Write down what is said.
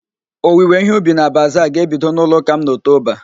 Owiwe ihe ubi na bazaa ga-ebido n'ụlọụ́kà m na Oktoba